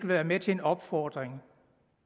være med til en opfordring